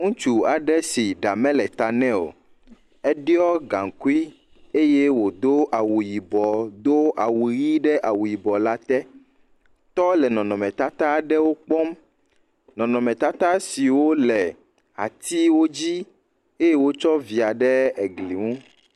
Ŋutsu aɖe si eɖa mele eta nɛ o, eɖɔ gaŋkui eye wòo awu yibɔ, do awu ʋɛ̃ɖe awu yibɔ la te, tɔ le nɔnɔmetata aɖewo kpɔm, nɔnɔmetata siwo le atiwo dzi eye wotsɔ via ɖe egli ŋu.